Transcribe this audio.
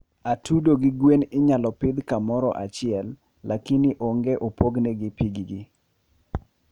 atudo gi gwen inyalo pidh kamorahiele lakini ongo opogne piigi